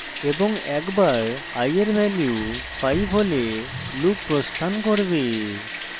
এবং একবার i এর value 5 হলে loop প্রস্থান করবে